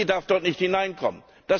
Die OECD darf dort nicht hineinkommen.